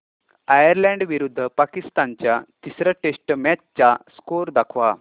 Ireland विरुद्ध पाकिस्तान च्या तिसर्या टेस्ट मॅच चा स्कोअर दाखवा